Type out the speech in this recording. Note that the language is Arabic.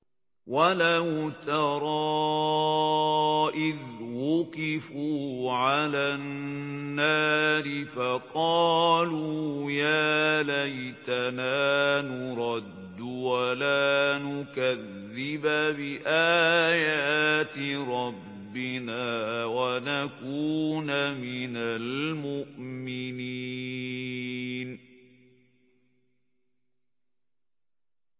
وَلَوْ تَرَىٰ إِذْ وُقِفُوا عَلَى النَّارِ فَقَالُوا يَا لَيْتَنَا نُرَدُّ وَلَا نُكَذِّبَ بِآيَاتِ رَبِّنَا وَنَكُونَ مِنَ الْمُؤْمِنِينَ